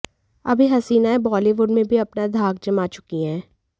अब ये हसीनाएं बॉलीवुड में भी अपनी धाक जमा चुकी हैं